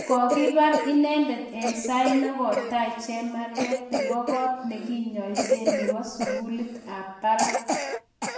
kokibar inendet eng sait nokotai chemarget nebo kot nekinyoisee neboo sugulit ab barak